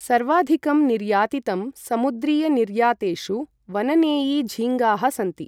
सर्वाधिकं निर्यातितं समुद्रीयनिर्यातेषु वननेई झींगाः सन्ति ।